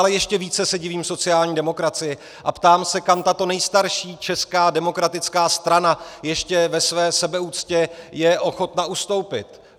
Ale ještě více se divím sociální demokracii a ptám se, kam tato nejstarší česká demokratická strana ještě ve své sebeúctě je ochotna ustoupit.